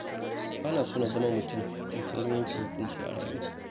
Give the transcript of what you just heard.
Ba na so na zama mutum mai saurin yanke hukunci a rayuwa.